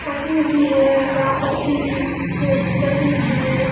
शादी उदी है गाँव का सीन है। उसके बाद है।